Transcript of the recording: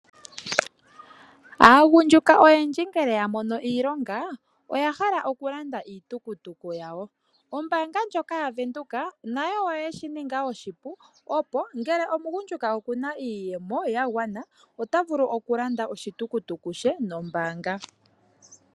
Aagundjuka oyendji ngele ya mono iilonga oya hala okulanda iitukutuku yawo. Ombaanga ndjoka yaVenduka nayo oye shi ninga oshipu opo ngele omugundjuka okuna iiyemo ya gwana ota vulu okulanda oshitukutuku she nombaanga.